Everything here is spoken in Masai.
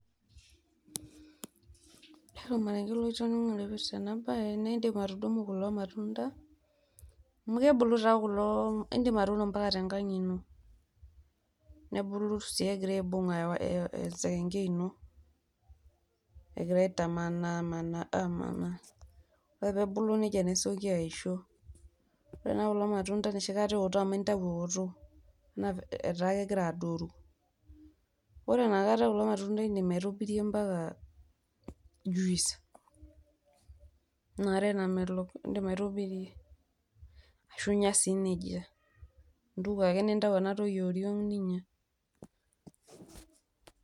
Ore ormareng'e lotoning'o laipirta ena baye naa indim atudumu kulo matunda amu kebulu taa kulo indim atuuno mpaka tenkang' ino nebulu sii egira aibung'a ewaya esekeng'ei ino, egira aitamanaa amanaa. Oree peebulu neija nesioki aisho, ore taa kulo matunda enoshi kata eoto amu intau eoto naa etaa kegira adoru. Kore inakata kulo matunda indim aitobirie mpaka juice ina are namelok indim aitobirie, ashu inya neija, intuko ake nintayu ena toki e oriong' ninya.